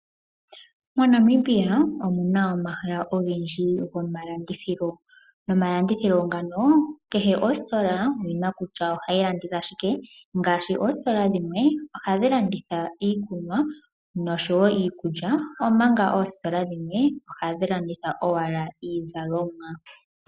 MoNamibia omuna omahala ogendji goma landithilo. Noma landithilo ngano kehe ositola oyina kutya ohayi landitha shike. Oositola dhimwe ohadhi landitha iikunwa noshowo iikulya. Omanga oositola dhimwe ohadhi landitha owala iizalomwa.